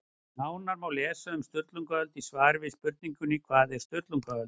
Nánar má lesa um Sturlungaöld í svari við spurningunni Hvað var Sturlungaöld?